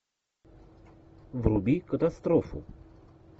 вруби катастрофу